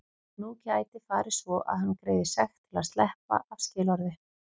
Nú gæti farið svo að hann greiði sekt til að sleppa af skilorði.